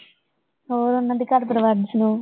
ਹੋਰ ਓਹਨਾ ਦੇ ਘਰ ਪਰਿਵਾਰ ਦੀ ਸੁਣਾਓ